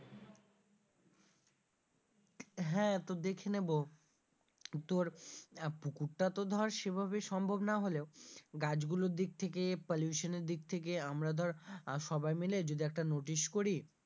হ্যাঁ তো দেখে নেব, তোর পুকুরটা তো ধর সেই ভাবে সম্ভব না হলেও গাছগুলোর দিক থেকে pollution এর দিক থেকে আমরা ধর আহ সবাই মিলে যদি একটা notice করি,